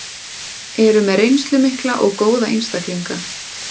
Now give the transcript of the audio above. Eru með reynslu mikla og góða einstaklinga.